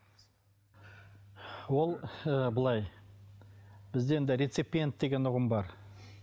ол ы былай бізде енді реципиент деген ұғым бар